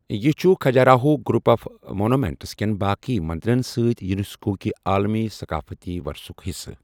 یہِ چھُ Khajuraho group of monuments کٮ۪ن باقٕین مندرن سۭتۍ یونیسکو کہِ عالمی ثقافتی ورثُک حِصہٕ۔